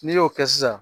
N'i y'o kɛ sisan